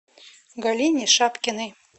галине шапкиной